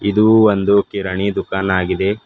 ಇದು ಒಂದು ಕಿರಾಣಿ ದುಕಾನ್ ಆಗಿದೆ.